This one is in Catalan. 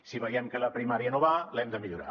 si veiem que la primària no va l’hem de millorar